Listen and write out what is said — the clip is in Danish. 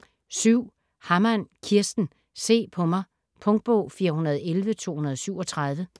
Hammann, Kirsten: Se på mig Punktbog 411237